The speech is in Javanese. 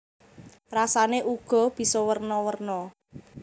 Rasané uga bisa werna werna